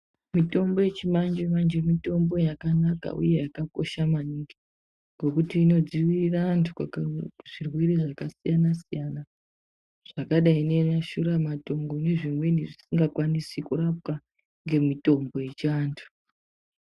Mitombo yechimanje manje mitombo yakanaka uye yakakosha maningi ngekuti inodzivirire antu kubva kuzvirwere zvakasiyana siyana zvakadai neshura matongo nezvimweni zvisingakwanisi kurapwa ngemitombo yechiantu.